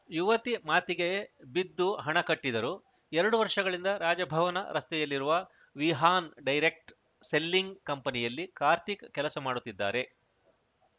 ಯುವತಿ ಮಾತಿಗೆ ಬಿದ್ದು ಹಣ ಕಟ್ಟಿದರು ಎರಡು ವರ್ಷಗಳಿಂದ ರಾಜಭವನ ರಸ್ತೆಯಲ್ಲಿರುವ ವಿಹಾನ್‌ ಡೈರೆಕ್ಟ್ ಸೆಲ್ಲಿಂಗ್‌ ಕಂಪನಿಯಲ್ಲಿ ಕಾರ್ತಿಕ್‌ ಕೆಲಸ ಮಾಡುತ್ತಿದ್ದಾರೆ